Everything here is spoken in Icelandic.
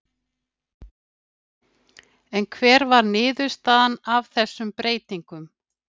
En hver var niðurstaðan af þessum breytingum?